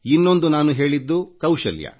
ಇನ್ನೊಂದು ನಾನು ಹೇಳಿದ್ದು ಕೌಶಲ್ಯ